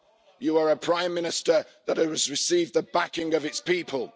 You are a Prime Minister that has received the backing of its people.